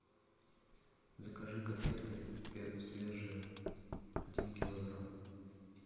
закажи котлеты свежие один килограмм